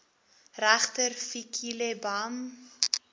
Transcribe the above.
regter fikile bam